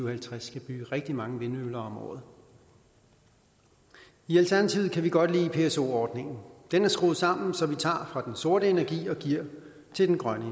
og halvtreds skal bygge rigtig mange vindmøller om året i alternativet kan vi godt lide pso ordningen den er skruet sammen så vi tager fra den sorte energi og giver til den grønne